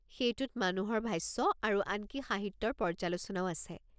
সেইটোত মানুহৰ ভাষ্য আৰু আনকি সাহিত্যৰ পৰ্য্যালোচনাও আছে।